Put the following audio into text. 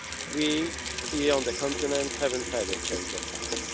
We, here on the continent, have not had a change of